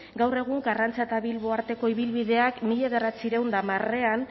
gaur egun karrantza eta bilbo arteko ibilbideak mila bederatziehun eta hamarean